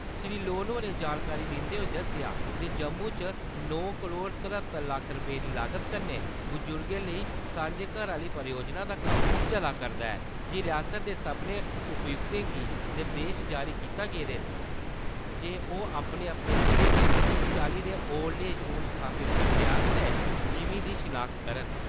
श्री लोन होरें जानकारी दिन्दे होई दस्सेया जे जम्मू च नौ करोड़ तरहत्तर लक्ख रपें दी लागत कन्नै बजुर्गे लेई सांझे घर आहली परियोजना दा कम्म चला करदा ऐ ते रियासता दे सब्बने उपायुक्तें गी निर्देश जारी कीते गेदे न जे ओ अपने - अपने ज़िलें च इस चाल्ली दे ओल्ड एज होम स्थापित करने आस्तै ज़िमी दी शिनाख्त करन।